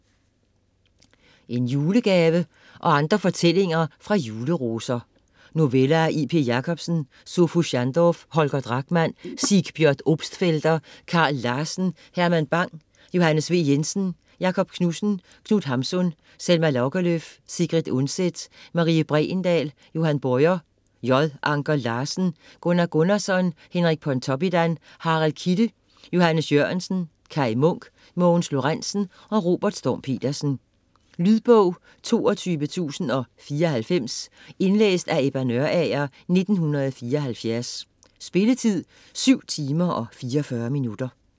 En julegave og andre fortællinger fra Juleroser Noveller af: J.P. Jacobsen, Sophus Schandorph, Holger Drachmann, Sigbjørn Obstfelder, Karl Larsen, Herman Bang, Johannes V. Jensen, Jakob Knudsen, Knut Hamsun, Selma Lagerlöf, Sigrid Undset, Marie Bregendahl, Johan Bojer, J. Anker Larsen, Gunnar Gunnarsson, Henrik Pontoppidan, Harald Kidde, Johannes Jørgensen, Kaj Munk,. Mogens Lorentzen, Robert Storm Petersen. Lydbog 22094 Indlæst af Ebba Nørager, 1974. Spilletid: 7 timer, 44 minutter.